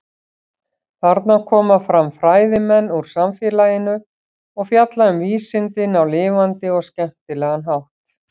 Þarna koma fram fræðimenn úr samfélaginu og fjalla um vísindin á lifandi og skemmtilega hátt.